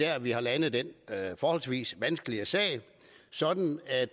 at vi har landet den forholdsvis vanskelige sag sådan at